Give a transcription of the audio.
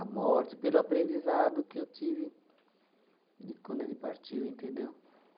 a morte, pelo aprendizado que eu tive de quando ele partiu, entendeu?